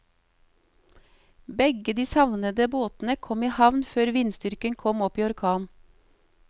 Begge de savnede båtene kom i havn før vindstyrken kom opp i orkan.